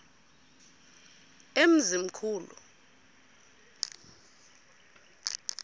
emzimkhulu